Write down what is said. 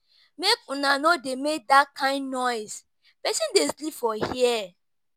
Make una no dey make dat kin noise, person dey sleep for here